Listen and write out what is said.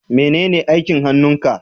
menene aikin hannun ka?